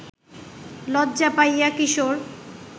লজ্জা পাইয়া কিশোর